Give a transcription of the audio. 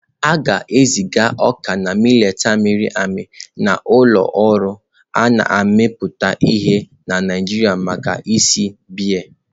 A ga-eziga ọka na mileetị a mịrị amị na ụlọ ọrụ a na-emepụta ihe na Naijiria maka ịsa biya.